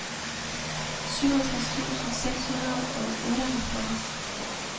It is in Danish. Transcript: syvogtres tusind seks hundrede og otteoghalvfjerds